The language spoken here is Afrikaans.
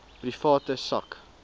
private sak